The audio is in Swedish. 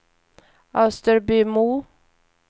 Österbymo